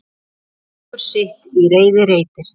Margur sitt í reiði reitir.